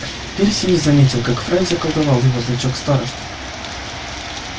перси не заметил как фред заколдовал его значок старосты